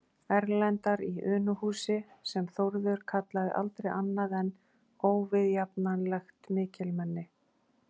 Erlendar í Unuhúsi, sem Þórður kallaði aldrei annað en óviðjafnanlegt mikilmenni.